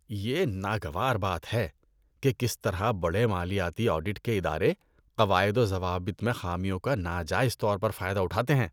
یہ ناگوار بات ہے کہ کس طرح بڑے مالیاتی آڈٹ کے ادارے قواعد و ضوابط میں خامیوں کا ناجائز طور پر فائدہ اٹھاتے ہیں۔